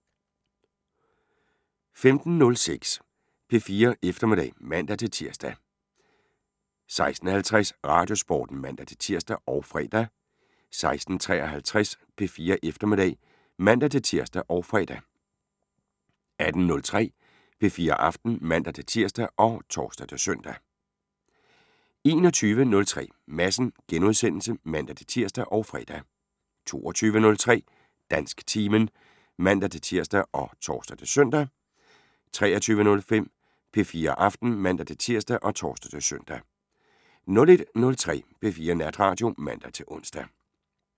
15:06: P4 Eftermiddag (man-tir) 16:50: Radiosporten (man-tir og fre) 16:53: P4 Eftermiddag (man-tir og fre) 18:03: P4 Aften (man-tir og tor-søn) 21:03: Madsen *(man-tir og fre) 22:03: Dansktimen (man-tir og tor-søn) 23:05: P4 Aften (man-tir og tor-søn) 01:03: P4 Natradio (man-ons)